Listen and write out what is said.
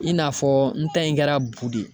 I n'a fɔ n ta in kɛra bu de ye.